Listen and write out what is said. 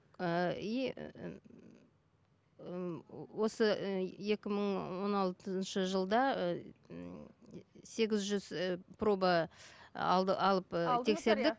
ыыы и ыыы осы ы екі мың он алтыншы жылда сегіз жүз ыыы проба алды алып тексердік